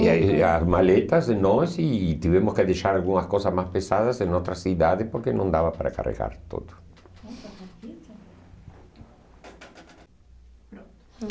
E aí as maletas e nós e e tivemos que deixar algumas coisas mais pesadas em outra cidade porque não dava para carregar tudo.